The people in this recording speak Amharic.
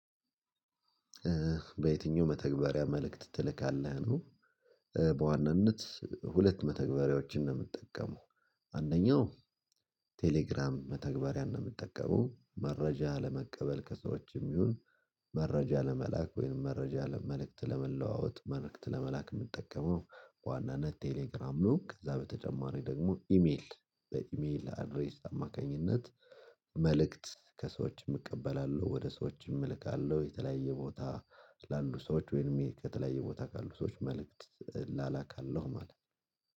በየትኛው መተግበሪያ መልእክት ትልካለህ ነው? በዋናነት ሁለት መተግበሪያዎችን ነው የምትጠቀመው? አንደኛው ቴሌግራም መተግበሪያ ነው የምትጠቀመው መረጃ ለመቀበል ከሰዎችም ይሁን። መረጃ ለመላክ ወይም መረጃ ለመልእክት ለመለዋወጥ መልእክት ለመላክ የምንጠቀመው በዋናነት ቴሌግራም ነው። ከዛ በተጨማሪ ደግሞ ኢሜል በኢሜል አድሬስ አማካኝነት መልእክት ከሰዎችም እቀበላለሁ። ወደ ሰዎችም እልካለሁ የተለያየ ቦታ ላሉ ሰዎች ወይም ከተለያየ ቦታ ካሉ ሰዎች መልእክት ላላካለሁ ማለት ነው